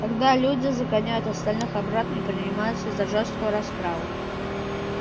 тогда люди загоняют остальных обратно и принимаются за жёсткую расправу